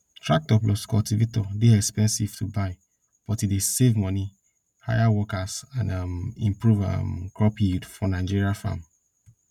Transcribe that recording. tractor plus cultivator dey expensive to buy but e dey save money hire workers and um improve um crop yield for nigeria farm